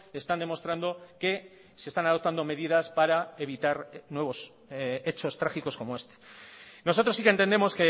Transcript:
están demostrando que se están adoptando medidas para evitar nuevos hechos trágicos como este nosotros sí que entendemos